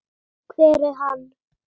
hver er hann?